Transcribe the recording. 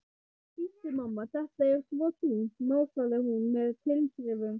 Bíddu, mamma, þetta er svo þungt, másaði hún með tilþrifum.